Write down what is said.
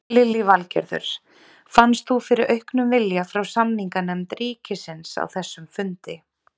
Lillý Valgerður: Fannst þú fyrir auknum vilja frá samninganefnd ríkisins á þessum fundi?